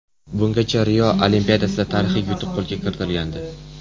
Bungacha Rio Olimpiadasida tarixiy yutuq qo‘lga kiritilgandi.